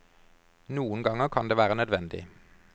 Noen ganger kan det være nødvendig.